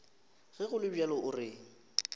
ge go le bjalo re